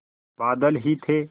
बादल ही थे